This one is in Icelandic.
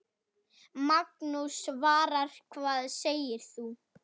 Magnús: Svavar, hvað segir þú?